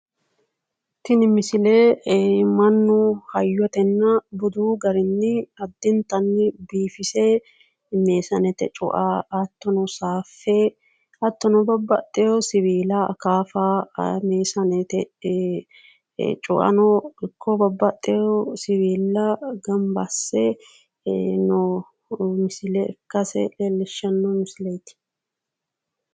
Tini misile mannu hayyotenna budu garinni addinnitani biifise meesanete cua hatto saffe hattonno babbaxewo siwila akaafa meesanete cuano ikko babbaxewo siwila gamba asse noo misile ikasse leelishshano misileti